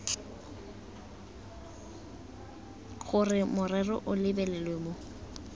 gore morero o lebelelwe mo